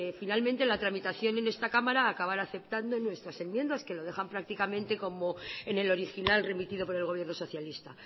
finalmente la tramitación en esta cámara acabara aceptando nuestras enmiendas que lo dejan prácticamente como en el original remitido por el gobierno socialista